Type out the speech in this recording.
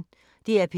DR P1